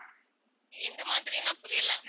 எந்த மாதிரின்னா புரியல